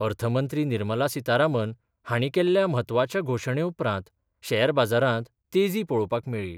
अर्थ मंत्री निर्मला सीतारामन हांणी केल्ल्या म्हत्वाच्या घोशणे उपरांत शॅर बाजारांत तेजी पळोवपाक मेळ्ळी.